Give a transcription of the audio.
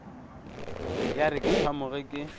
ya re ke phamoge ke